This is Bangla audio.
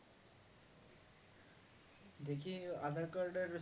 দেখি aadhar card এর